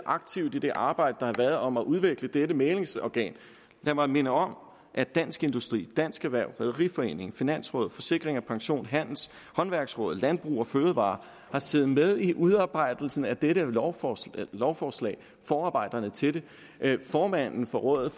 aktivt i det arbejde der har været om at udvikle dette mæglingsorgan lad mig minde om at dansk industri dansk erhverv rederiforeningen finansrådet forsikring pension håndværksrådet og landbrug fødevarer har siddet med ved udarbejdelsen af dette lovforslag lovforslag i forarbejderne til det formanden for rådet